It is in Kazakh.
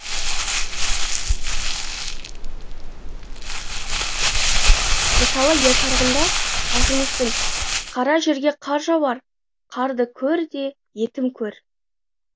мысалы ер тарғында ақжүністің қара жерге қар жауар қарды көр де етім көр